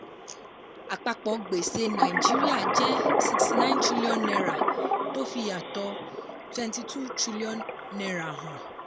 àpapọ̀ gbèsè nàìjíríà jẹ́ n69 trillion tó fìyàtọ̀ n22 trillion hàn.